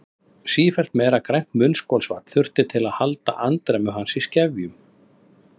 Sífellt meira grænt munnskolvatn þurfti til að halda andremmu hans í skefjum.